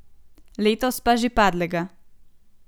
Letos pa že padlega.